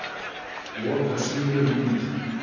Loka síðu um einelti